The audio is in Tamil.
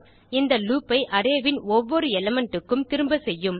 இந்த லூப் ஐ அரே ன் ஒவ்வொரு எலிமெண்ட் க்கும் திரும்ப செய்யும்